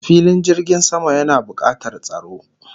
Filin jirgin sama yana bukatar tsaro